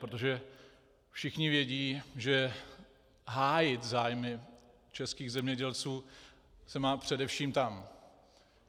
Protože všichni vědí, že hájit zájmy českých zemědělců se mají především tam.